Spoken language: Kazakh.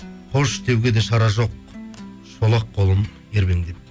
қош деуге де шара жоқ шолақ қолым ербеңдеп